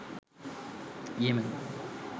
Yemen